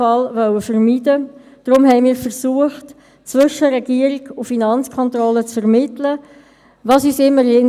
Es ist ein Novum, dass wir den Geschäftsbericht, den Voranschlag (VA) und den Aufgaben-/Finanzplan (AFP) in derselben Session beraten.